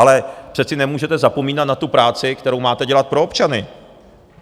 Ale přece nemůžete zapomínat na tu práci, kterou máte dělat pro občany!